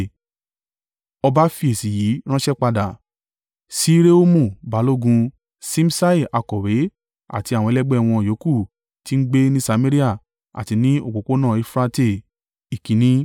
Ọba fi èsì yìí ránṣẹ́ padà. Sí Rehumu balógun, Ṣimṣai akọ̀wé àti àwọn ẹlẹgbẹ́ wọn yòókù tí ń gbé ní Samaria àti ní òpópónà Eufurate. Ìkíni.